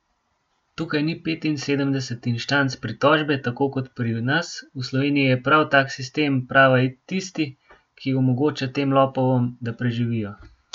Tukaj ni petinosemdeset inštanc pritožbe tako kot pri nas, v Sloveniji je prav tak sistem prava tisti, ki omogoča tem lopovom, da preživijo!